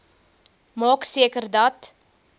maak seker dat